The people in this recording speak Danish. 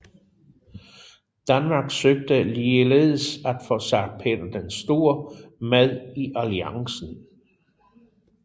Danmark søgte ligeledes at få zar Peter den Store med i alliancen